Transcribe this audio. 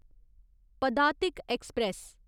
Padatik express